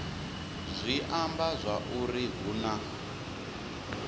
zwi amba zwauri hu na